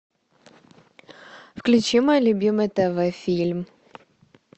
включи мой любимый тв фильм